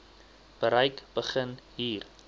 bereik begin hier